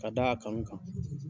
Ka da a kanu kan.